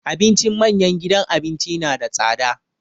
Abincin manyan gidan abinci na da tsada.